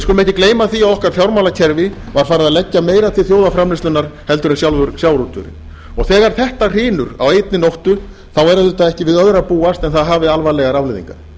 við skulum ekki gleyma því að okkar fjármálakerfi var farið að leggja meira til þjóðarframleiðslunnar heldur en sjálfur sjávarútvegurinn þegar þetta hrynur á einni nóttu er auðvitað ekki við öðru að búast en það hafi alvarlegar afleiðingar